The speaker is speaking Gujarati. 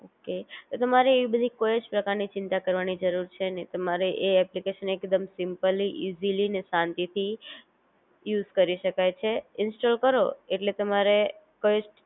ઓકે તો તમારે એવી બધી કોઈ જ પ્રકાર ની ચિંતા કરવાની જરૂર છે નહિ તમારે એ એપ્લિકેશન એકદમ સિમ્પલી, ઇજીલી અને શાંતિ થી યુઝ કરી શકાય છે, ઇન્સ્ટોલ કરો ઍટલે તમારે કોઈ જ